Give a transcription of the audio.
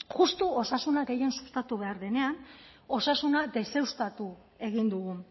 justu osasunak gehien sustatu behar denean osasuna deuseztatu egin dugu